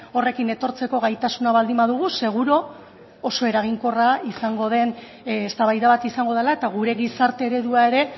horrekin etortzeko gaitasuna baldin badugu seguru oso eraginkorra izango den eztabaida bat izango dela eta gure gizarte eredua ere